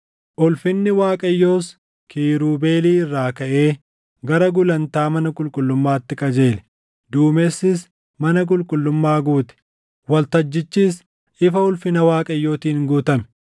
Ulfinni Waaqayyoos kiirubeelii irraa kaʼee gara gulantaa mana qulqullummaatti qajeele. Duumessis mana qulqullummaa guute; waltajjichis ifa ulfina Waaqayyootiin guutame.